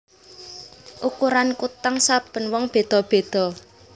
Ukuran kutang saben wong wadon beda beda